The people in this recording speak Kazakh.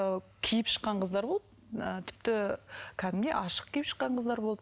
ыыы киіп шыққан қыздар ғой ы тіпті кәдімгідей ашық киіп шыққан қыздар болды